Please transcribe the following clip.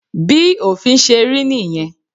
Bí òfin ṣe rí nìyẹn.